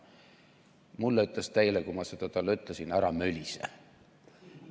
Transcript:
Mulle ütles ta eile, kui ma talle seda ütlesin, et ära mölise.